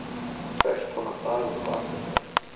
Hvers konar dagur er þetta eiginlega?